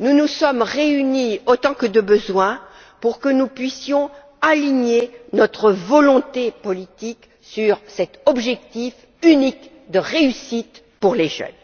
nous nous sommes réunis autant que de besoin afin de pouvoir aligner notre volonté politique sur cet objectif unique de réussite pour les jeunes.